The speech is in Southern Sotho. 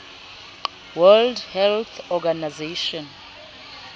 world health organization